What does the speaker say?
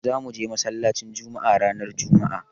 Za mu je masallacin Jumma'a ranar jumma'a.